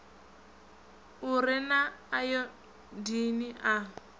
u re na ayodini a